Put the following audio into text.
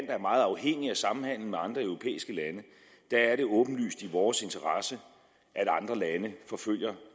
er meget afhængigt af samhandelen med andre europæiske lande er det åbenlyst i vores interesse at andre lande følger